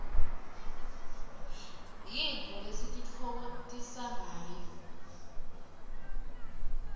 yintfo lesititfokotisangayo